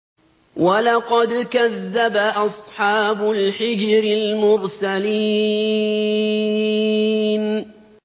وَلَقَدْ كَذَّبَ أَصْحَابُ الْحِجْرِ الْمُرْسَلِينَ